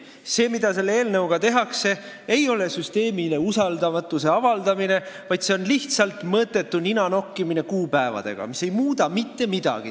Aga see, mida selle eelnõuga tehakse, ei ole süsteemile usaldamatuse avaldamine, vaid see on lihtsalt mõttetu ninanokkimine kuupäevadega, mis ei muuda mitte midagi.